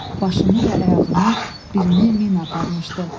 Başını və ayağını, birini mina aparmışdı.